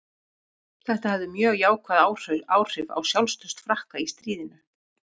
Þetta hafði mjög jákvæð áhrif á sjálfstraust Frakka í stríðinu.